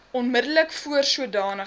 onmiddellik voor sodanige